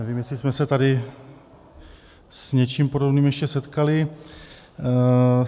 Nevím, jestli jsme se tady s něčím podobným už setkali.